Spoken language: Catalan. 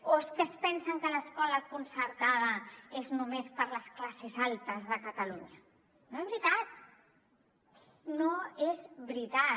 o es que es pensen que l’escola concertada és només per a les classes altes de catalunya no és veritat no és veritat